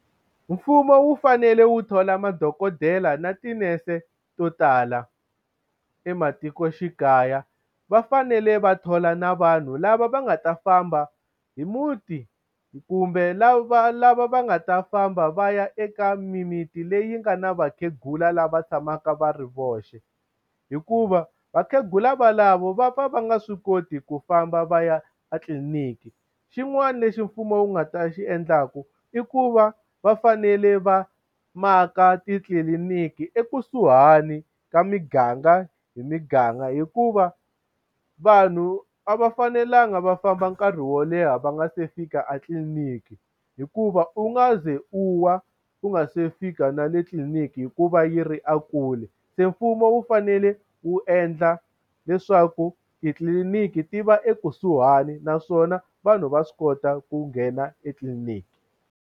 Mfumo wu fanele wu thola madokodela na tinese to tala ematikoxikaya. Va fanele va thola na vanhu lava va nga ta famba hi muti kumbe lava lava va nga ta famba va ya eka mimiti leyi nga na vakhegula lava tshamaka va ri voxe. Hikuva vakhegula valavo va pfa va nga swi koti ku famba va ya etliliniki. Xin'wana lexi mfumo wu nga ta xi endlaka i ku va va fanele va maka titliliniki ekusuhani ka miganga hi miganga, hikuva vanhu a va fanelanga va famba nkarhi wo leha va nga se fika a tliliniki. Hikuva u nga ze u wa u nga se fika na le tliliniki hikuva yi ri ekule. Se mfumo wu fanele wu endla leswaku titliliniki ti va ekusuhani naswona vanhu va swi kota ku nghena etliliniki.